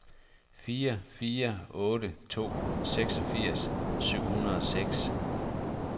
fire fire otte to seksogfirs syv hundrede og seks